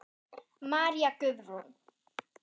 María Guðrún.